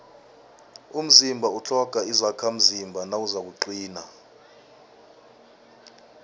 umzimba utlhoga izakhamzimba nawuzakuqina